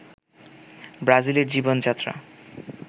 ব্রাজিলের জীবন-যাত্রা